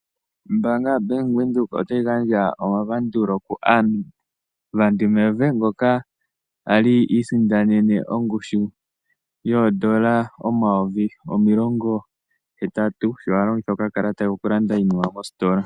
Ombanga yaBank Windhoek ota yi gandja omapandulo kuAnna van der Merwe, ngoka a li iisindanene ongushu yoodollar omayovi omilongo hetatu sho a longitha okakalata ke okulanda iinima mositola.